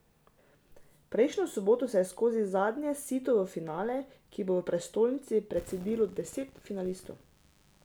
Prejšnjo soboto se je skozi zadnje sito v finale, ki bo v prestolnici, precedilo deset finalistov.